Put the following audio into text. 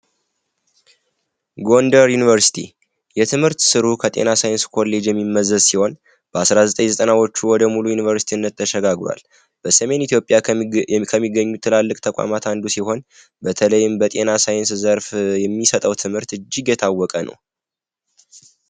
ጎንደር ዩቨርሲቲ የትምህርት ስሩ ከጤና ሳይንስ ኮሌጅ የሚመዘዝ ሲሆን በ1990ዎቹ ወደ ሙሉ ዩኒቨርሲቲነት ተሸጋግሯል በሰሜን ኢትዮጵያ ከሚገኙት ትላልቅ ተቋማት አንዱ ሲሆን በተለይም በጤና ሳይንስ ዘርፍ የሚሰጠው ትምህርት እጅግ የታወቀ ነው።